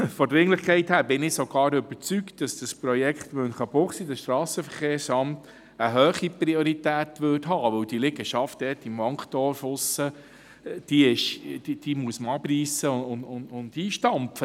Von der Dringlichkeit her bin ich sogar überzeugt, dass dieses Strassenverkehrsamt Münchenbuchsee eine hohe Priorität hätte, weil die Liegenschaft im Wankdorf abgerissen und eingestampft werden muss.